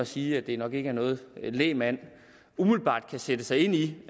sige at det nok ikke er noget lægmand umiddelbart kan sætte sig ind i